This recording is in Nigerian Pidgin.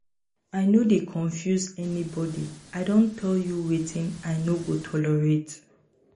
i no dey confuse anybodi i don tell you wetin i no go tolerate.